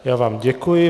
Já vám děkuji.